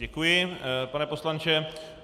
Děkuji, pane poslanče.